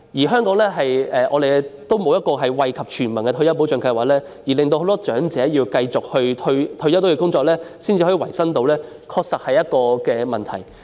香港也沒有惠及全民的退休保障計劃，令很多長者退休後要繼續工作維生，的確是一個問題。